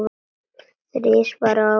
Þrisvar á ári til Japans?